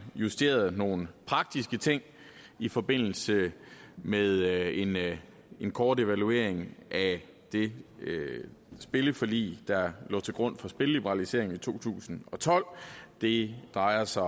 justeret nogle praktiske ting i forbindelse med en med en kort evaluering af det spilleforlig der lå til grund for spilleliberaliseringen i to tusind og tolv det drejer sig